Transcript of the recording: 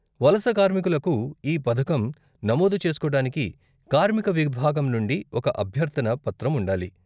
వలస కార్మికులకు ఈ పథకం నమోదు చేస్కోడానికి కార్మిక విభాగం నుండి ఒక అభ్యర్థన పత్రం ఉండాలి.